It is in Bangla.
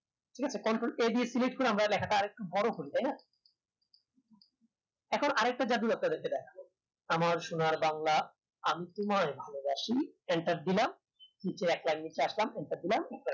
ঠিক আছে control a দিয়ে select করে আমরা লেখাটা আরেকটু বড় করি তাই না এরপর আর একটা জাদু আপনাদেরকে দেখাবো আমার সোনার বাংলা আমি তোমায় ভালোবাসি enter দিলাম নিচে একটা নিচে আসলাম